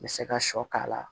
N bɛ se ka sɔ k'a la